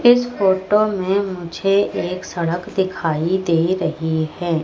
इस फोटो में मुझे एक सड़क दिखाई दे रही है।